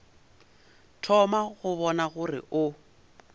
thoma go bona gore o